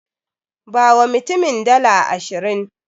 Bawa mutumin dala ashirin.